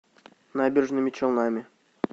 набережными челнами